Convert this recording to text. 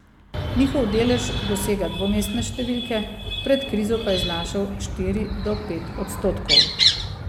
Njihov delež dosega dvomestne številke, pred krizo pa je znašal štiri do pet odstotkov.